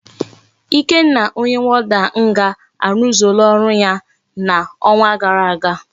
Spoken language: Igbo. Ikenna onye warder nga aruzuola oru ya na onwa gara aga